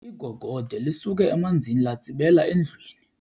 Igogode lisuke emanzini latsibela endlwini.